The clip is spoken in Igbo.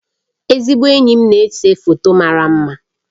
Ezigbo enyi m na-ese foto mara mma